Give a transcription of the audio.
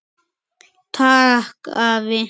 Takk afi.